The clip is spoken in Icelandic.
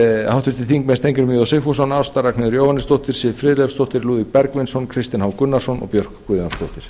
háttvirtir þingmenn steingrímur j sigfússon ásta ragnheiður jóhannesdóttir siv friðleifsdóttir lúðvík bergvinsson kristinn h gunnarsson og björk guðmundsdóttir